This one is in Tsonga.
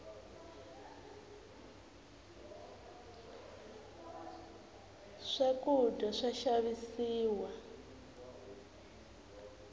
swakudya swa xavisiwa